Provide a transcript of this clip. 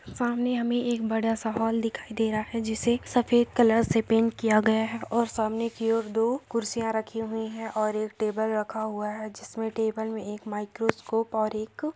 सामने हमे एक बड़ा सा हॉल दिखाई दे रहा है जिसे एक सफ़ेद कलर से पेंट किया गया है और सामने की और दो कुर्सियां रखी हुई है और एक टेबल रखा हुआ है जिसमे टेबल में एक माइक्रोस्कोप और एक--